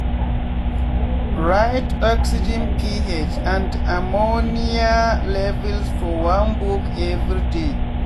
write oxygenph and ammonia um levels for one book everyday.